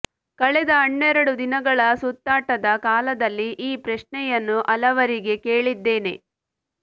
ಕಳೆದ ಹನ್ನೆರಡು ದಿನಗಳ ಸುತ್ತಾಟದ ಕಾಲದಲ್ಲಿ ಈ ಪ್ರಶ್ನೆಯನ್ನು ಹಲವರಿಗೆ ಕೇಳಿದ್ದೇನೆ